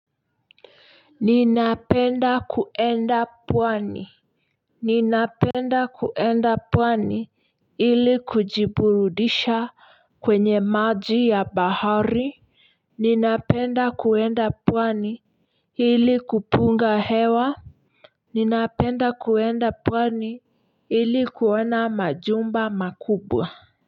Ninapenda kuenda pwani. Ninapenda kuenda pwani ili kujiburudisha kwenye maji ya bahari ninapenda kuenda pwani ili kupunga hewa ninapenda kuenda pwani ili kuona majumba makubwa.